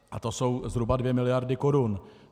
A to jsou zhruba dvě miliardy korun.